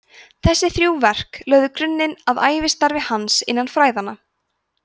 þessi þrjú verk lögðu grunninn að ævistarfi hans innan fræðanna